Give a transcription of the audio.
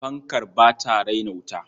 Fankar ba ta raina wuta.